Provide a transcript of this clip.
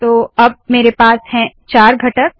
तो अब मेरे पास है चार घटक